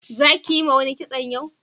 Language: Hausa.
za ki Yi ma wani kitson yau?